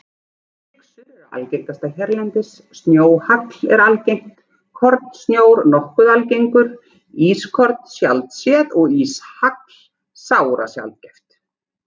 Flyksur eru algengastar hérlendis, snjóhagl er algengt, kornsnjór nokkuð algengur, ískorn sjaldséð og íshagl sárasjaldgæft.